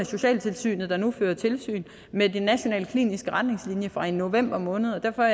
socialtilsynet nu fører tilsyn med de nationale kliniske retningslinjer fra november måned derfor